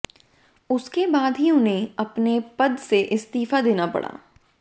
उसके बाद ही उन्हें अपने पद से इस्तीफा देना पड़ा